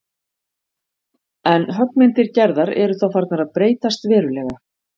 En höggmyndir Gerðar eru þá farnar að breytast verulega.